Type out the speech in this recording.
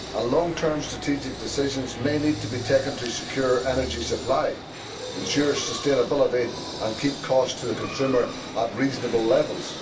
Long term strategic decisions may need to be taken to secure energy supply, ensure sustainability and keep costs to consumers at reasonable levels.